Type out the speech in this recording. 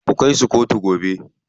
Ku kai su kotu gobe.